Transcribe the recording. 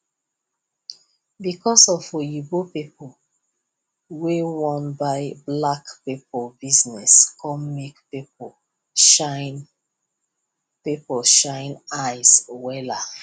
because of di oyinbo people wey wan buy black people business come make people shine people shine eyes wella